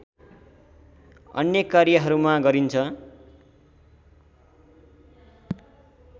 अन्य कार्यहरूमा गरिन्छ